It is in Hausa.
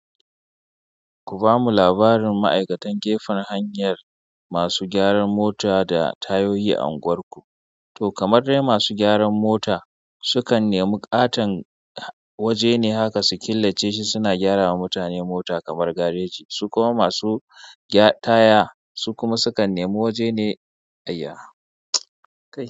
Ku bamu labarin ma'aikatan gefen hanyar, masu gyaran mota da tayoyi a unguwarku. To, kamar dai masu gyaran mota sukan nemi ƙaton waje ne haka su killace shi suna gyarawa mutane mota kamar gareji, su kuma masu taya su kuma sukan nemi waje ne a yi.